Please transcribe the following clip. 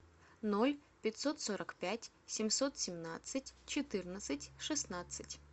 ноль пятьсот сорок пять семьсот семнадцать четырнадцать шестнадцать